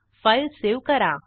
file save करा